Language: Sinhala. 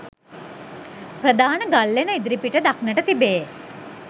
ප්‍රධාන ගල්ලෙන ඉදිරිපිට දක්නට තිබේ.